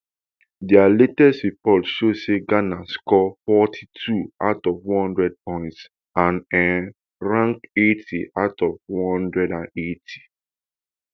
dis latest report show say ghana score forty-two out of one hundred points and um rank eighty out of one hundred and eighty